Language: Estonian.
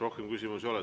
Rohkem küsimusi ei ole.